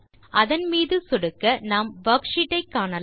அதன் மீது சொடுக்க நாம் வர்க்ஷீட் ஐ காணலாம்